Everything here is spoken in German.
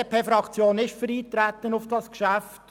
Die BDP-Fraktion ist für das Eintreten auf dieses Geschäft.